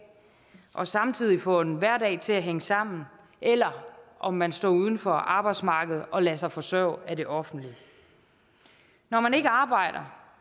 og samtidig får en hverdag til at hænge sammen eller om man står uden for arbejdsmarkedet og lader sig forsørge af det offentlige når man ikke arbejder